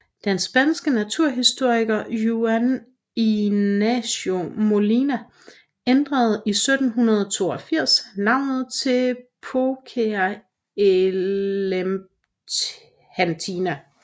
Den spanske naturhistoriker Juan Ignacio Molina ændrede i 1782 navnet til Phoca elephantina